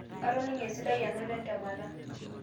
atoning'o esidai anoto entemata